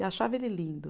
E achava ele lindo.